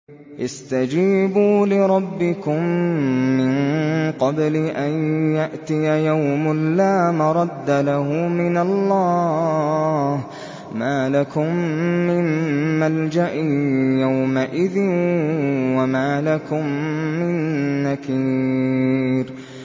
اسْتَجِيبُوا لِرَبِّكُم مِّن قَبْلِ أَن يَأْتِيَ يَوْمٌ لَّا مَرَدَّ لَهُ مِنَ اللَّهِ ۚ مَا لَكُم مِّن مَّلْجَإٍ يَوْمَئِذٍ وَمَا لَكُم مِّن نَّكِيرٍ